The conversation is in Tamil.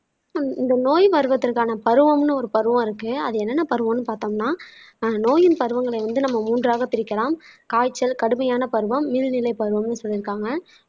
இந்த நோய் வருவத்திற்கான பருவம்ன்னு ஒரு பருவம் இருக்கு அது என்னென்ன பருவம்ன்னு பார்த்தோம்னா ஆஹ் நோயின் பருவங்களை வந்து நம்ம மூன்றாகப் பிரிக்கலாம் காய்ச்சல் கடுமையான பருவம் நீர்நிலை பருவம்ன்னு சொல்லிருக்காங்க